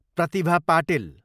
Pratibha Patil